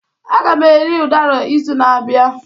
Aga m eri udara izu na-abịa